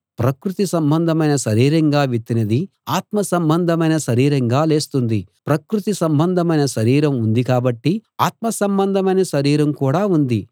ప్రకృతి సంబంధమైన శరీరంగా విత్తినది ఆత్మ సంబంధమైన శరీరంగా లేస్తుంది ప్రకృతి సంబంధమైన శరీరం ఉంది కాబట్టి ఆత్మ సంబంధమైన శరీరం కూడా ఉంది